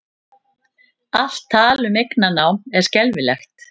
Allt tal um eignarnám er skelfilegt